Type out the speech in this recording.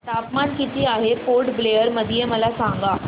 तापमान किती आहे पोर्ट ब्लेअर मध्ये मला सांगा